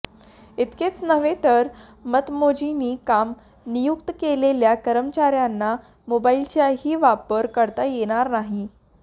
इतकेच नव्हे तर मतमोजणी कामी नियुक्त केलेल्या कर्मचाऱ्यांना मोबाईलचाही वापर करता येणार नाही